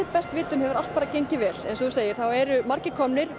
best vitum hefur allt bara gengið vel eins og þú segir eru margir komnir